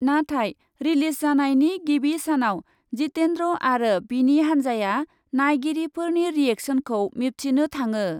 नाथाय रिलिज जानायनि गिबि सानाव जितेन्द्र आरो बिनि हान्जाया नायगिरिफोरनि रिएक्सनखौ मिबथिनो थाङो।